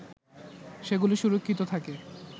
সেগুলো সুরক্ষিত থাকে